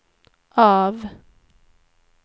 av